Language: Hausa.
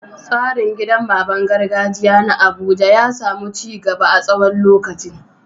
Tsarin gidan baban gargajiya na Abuja ya samu ci gaba a tsawon lokaci.